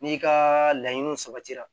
N'i ka laɲiniw sabatira